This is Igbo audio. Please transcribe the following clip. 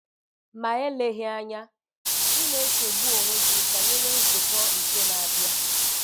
Ma eleghị anya, ị na-echegbu onwe gị banyere nzukọ nke na-abịa.